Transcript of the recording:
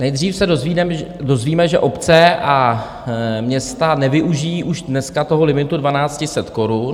Nejdříve se dozvíme, že obce a města nevyužijí už dneska toho limitu 1 200 korun.